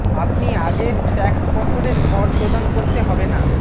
আপনি আগের ট্যাক্স বছরের কর প্রদান করতে হবে না